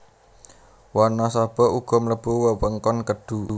Wanasaba uga mlebu wewengkon Kedhu